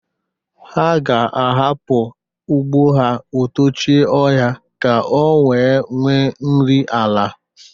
Ha ga-ahapụ ugbo ha o tochie ọhịa ka o wee nwe nri ala.